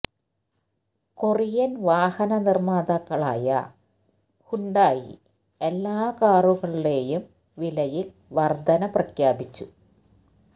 Korean വാഹന നിര്മാതാക്കളായ Hyundai എല്ലാ കാറുകളുടെയും വിലയില് വര്ധന പ്രഖ്യാപിച്ചു